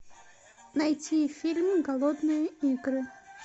найти фильм голодные игры